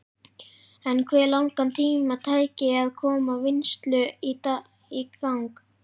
En hve langan tíma tæki að koma vinnslu í gang?